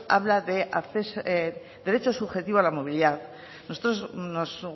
habla de derecho subjetivo a la movilidad nosotros nos